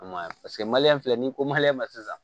A ma ɲa paseke filɛ ni ko ma sisan